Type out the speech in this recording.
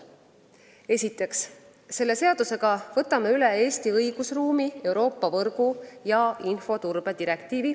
Esiteks võtame selle seadusega Eesti õigusruumi üle Euroopa võrgu- ja infoturbe direktiivi.